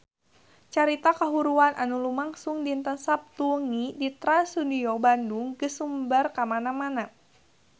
Carita kahuruan anu lumangsung dinten Saptu wengi di Trans Studio Bandung geus sumebar kamana-mana